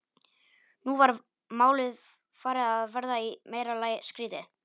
Nú var málið farið að verða í meira lagi skrýtið.